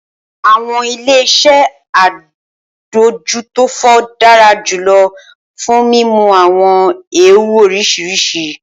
Awọn ile-iṣẹ adójútófò dara julọ fun mimu awọn eewu oriṣiriṣi.